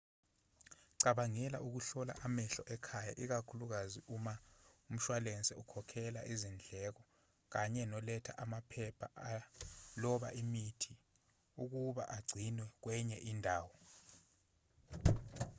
cabangela ukuhlola amehlo ekhaya ikakhulukazi uma umshwalense ukhokhelela izindleko kanye noletha amaphepha aloba imithi ukuba agcinwe kwenye indawo